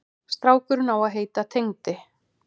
Strákurinn á að heita Tengdi.